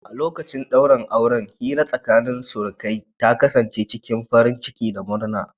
A lokacin daurin auren, hira tsakanin surukai ta kasance cikin farin ciki da murna.